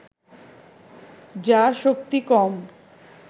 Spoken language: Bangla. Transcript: যার শক্তি কম